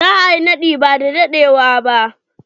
Za a yi naɗi ba da dadewa ba.